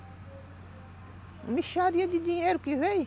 Uma mixaria de dinheiro que veio.